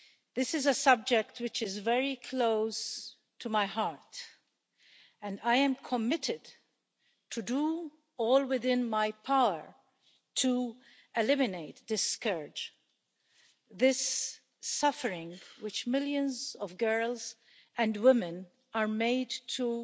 This is a subject that is very close to my heart and I am committed to doing everything within my power to eliminate this scourge, this suffering which millions of girls and women are made to